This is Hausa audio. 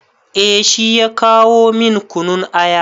Eh shi ya kawo min kunun aya.